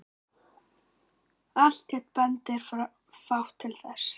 Alltént bendir fátt til þess.